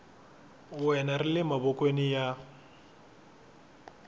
wena ri le mavokweni ya